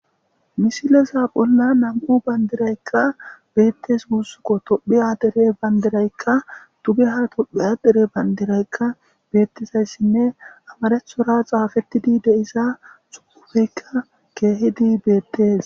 misileza bolla nam7u bandiraykka beettes guussukko tophi adere bayndiraykka tuge hara tophi adere bandiraykka beettizayssinne amarethora xaafettidi deisa sukufeykka keehidi beettees